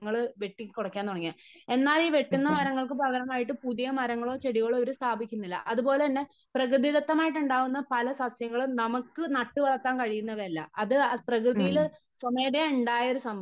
വനങ്ങൾ വെട്ടി കുറയ്ക്കാൻ തുടങ്ങിയത്. എന്നാൽ ഈ വെട്ടുന്ന മരങ്ങൾക്ക് പകരമായിട്ട് പുതിയ മരങ്ങളോ ചെടികളോ ഇവര് സ്ഥാപിക്കുന്നില്ല. അത് പോലെ തന്നെ പ്രകൃതിദത്തമായിട്ടുണ്ടാകുന്ന പല സസ്യങ്ങളും നമുക്ക് നട്ട് വളർത്താൻ കഴിയുന്നവയല്ല . അത് പ്രകൃതിയില് സ്വമേതയാ ഉണ്ടായ ഒരു സംഭവമാ .